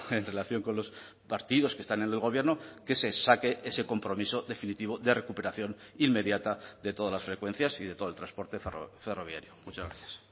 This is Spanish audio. en relación con los partidos que están en el gobierno que se saque ese compromiso definitivo de recuperación inmediata de todas las frecuencias y de todo el transporte ferroviario muchas gracias